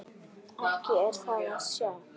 Ekki er það að sjá.